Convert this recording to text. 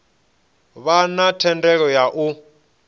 vha na thendelo ya u